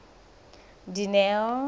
dineo